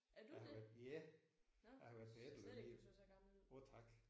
Er du det? Nåh jeg synes da slet ikke du så så gammel ud